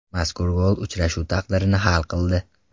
Mazkur gol uchrashuv taqdirini hal qildi.